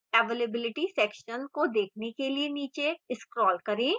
availability section को देखने के लिए नीचे scroll करें